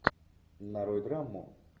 нарой драму